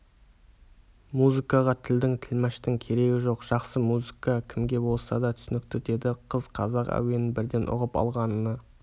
музыкаға тілдің тілмаштың керегі жоқ жақсы музыка кімге болса да түсінікті деді қыз қазақ әуенін бірден ұғып алғанына